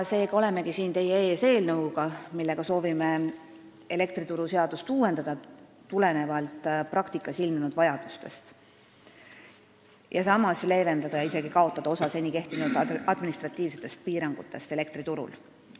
Nii olengi siin teie ees eelnõuga, millega soovime elektrituruseadust uuendada tulenevalt praktikas ilmnenud vajadustest ja samas leevendada, isegi kaotada osa seni kehtinud administratiivseid piiranguid elektriturul.